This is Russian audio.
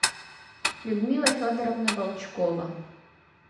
людмила федоровна волчкова